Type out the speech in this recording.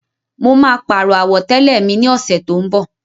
Mo máa pàrọ̀ àwọ̀tẹ́lẹ̀ mi ní ọ̀sẹ́ tó ń bọ̀.